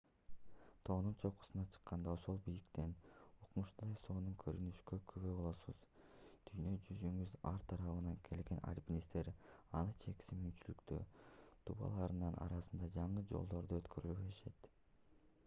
тоонун чокусуна чыкканда ошол бийиктиктен укмуштуудай сонун көрүнүшкө күбө болосуз. дүйнө жүзүнүн ар тарабынан келген aльпинисттер анын чексиз мүмкүнчүлүктүү дубалдарынын арасында жаңы жолдорду өткөрө беришет